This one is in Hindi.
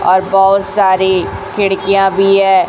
और बहुत सारे खिड़कियां भी हैं।